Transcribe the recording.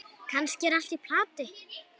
Kannski er allt í plati.